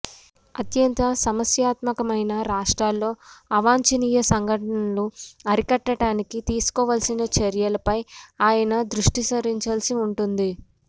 అత్యంత సమస్యాత్మకమైన రాష్ట్రాల్లో అవాంఛనీయ సంఘటనలను అరికట్డానికి తీసుకోవాల్సిన చర్యలపై ఆయన దృష్టి సారించాల్సి ఉంటుంది